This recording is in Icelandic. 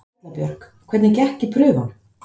Erla Björg: Hvernig gekk í prufunum?